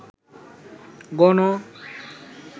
গণ